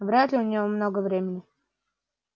вряд ли у неё много времени